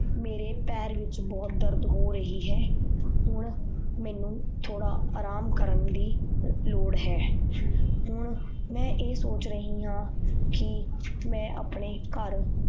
ਮੇਰੇ ਪੈਰ ਵਿੱਚ ਬਹੁਤ ਦਰਦ ਹੋ ਰਹੀ ਹੈ ਹੁਣ ਮੈਨੂੰ ਥੋੜ੍ਹਾ ਆਰਾਮ ਕਰਨ ਦੀ ਲੋੜ ਹੈ ਹੁਣ ਮੈਂ ਇਹ ਸੋਚ ਰਹੀ ਹਾਂ ਕਿ ਮੈਂ ਆਪਣੇ ਘਰ